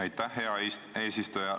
Aitäh, hea eesistuja!